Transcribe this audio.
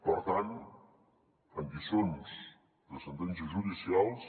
per tant en lliçons de sentències judicials